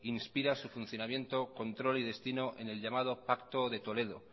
inspira su funcionamiento control y destino en el llamado pacto de toledo